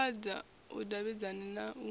vhambadza u davhidzana na u